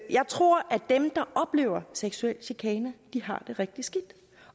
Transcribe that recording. jeg tror at dem der oplever seksuel chikane har det rigtig skidt